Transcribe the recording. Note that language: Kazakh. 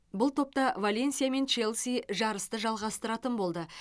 бұл топта валенсия мен челси жарысты жалғастыратын болды